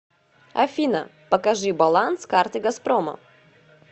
афина покажи баланс карты газпрома